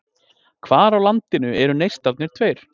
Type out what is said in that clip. Hvar á landinu eru Neistarnir tveir?